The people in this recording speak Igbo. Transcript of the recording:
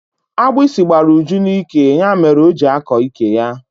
Agbịsị gbara Uju n'ike ya mere o ji akọ ike ya.